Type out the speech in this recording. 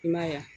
I m'a ye wa